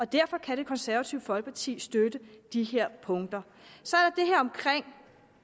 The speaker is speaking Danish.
derfor kan det konservative folkeparti støtte de her punkter så